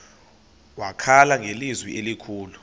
wakhala ngelizwi elikhulu